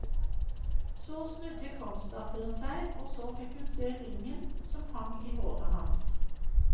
Så snudde kongsdatteren seg, og så fikk hun se ringen som hang i håret hans.